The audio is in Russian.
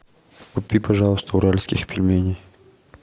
купи пожалуйста уральских пельменей